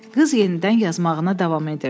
Qız yenidən yazmağına davam edirdi.